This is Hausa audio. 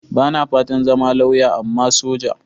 Ba na fatan zama lauya, amma soja.